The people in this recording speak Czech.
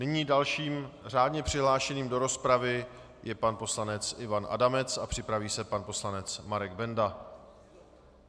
Nyní dalším řádně přihlášeným do rozpravy je pan poslanec Ivan Adamec a připraví se pan poslanec Marek Benda.